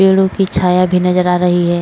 पेडो की छाया भी नज़र आ रही है।